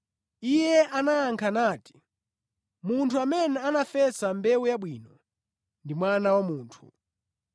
Iye anayankha nati, “Munthu amene anafesa mbewu yabwino ndi Mwana wa Munthu.